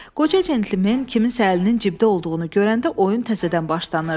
Qoca centlimen kimsə əlinin cibdə olduğunu görəndə oyun təzədən başlanırdı.